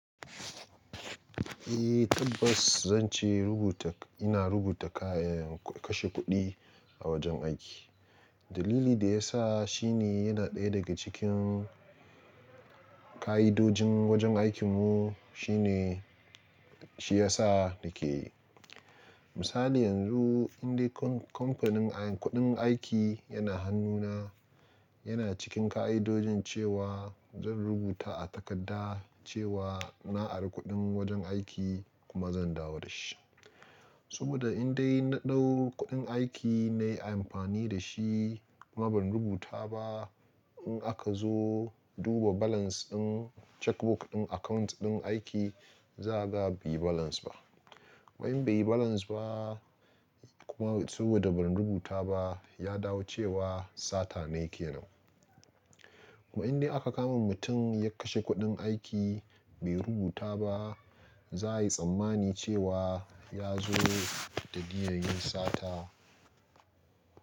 Eh tabbas zan ce rubuta ina rubuta kayan kashe kuɗi a wajen aiki. Dalili da ya sa shine yana ɗaya daga cikin ka'idojin wajen aikin mu shine shi ya sa nake. Misali yanzu indai kamfanin kuɗin aiki yana hannuna yana cikin ka'idojin cewa zan rubuta a takarda cewa na ari kuɗin wajen aiki kuma zan dawo da shi. Saboda indai na ɗau kuɗin aiki nayi amfani da shi kuma ban rubuta ba in aka zo duba balance ɗin checkbook ɗin account ɗin aiki za a ga bai balance ba. Kuma in bai balance ba kuma saboda ban rubuta ba ya dawo cewa sata ne kenan. Kuma inda aka kama mutum ya kashe kuɗin aiki bai rubuta ba za a yi tsammani cewa ya zo da niyyar yin sata.